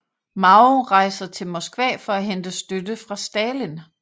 Mao rejser til Moskva for at hente støtte fra Stalin